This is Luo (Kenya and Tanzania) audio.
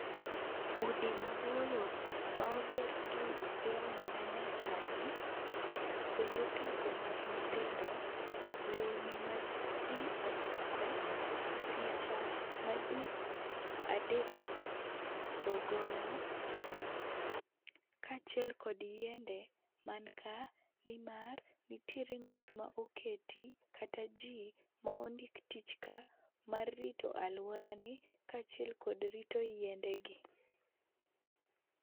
Udi maboyo ma oger gi lony manyasani, kuonde tugo mag nyithindo, lewni ma ji oruako, picha maji adek go goyo, kaachiel kod yiende man ka nimar nitiere ng'at ma oketi kata ji ma ondik tich ka mar rito aluorani kaachiel kod rito yiendegi.